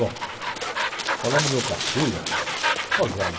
Bom, falando do meu caçula, gozado.